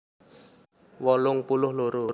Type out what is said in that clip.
wolung puluh loro